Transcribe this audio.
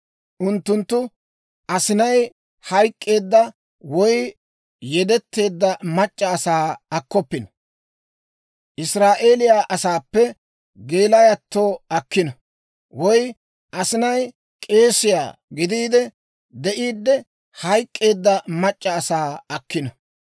Unttunttu asinay hayk'k'eedda, woy yedeteedda mac'c'a asaa akkoppino. Israa'eeliyaa asaappe geelayatto akkino; woy asinay k'eesiyaa gidiide de'iiddi hayk'k'eedda mac'c'a asaa akkino.